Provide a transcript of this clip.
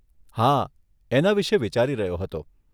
હા, એના વિશે વિચારી રહ્યો હતો.